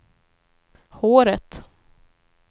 håret